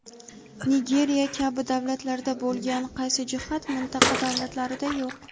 Nigeriya kabi davlatlarda bo‘lgan qaysi jihat mintaqa davlatlarida yo‘q?.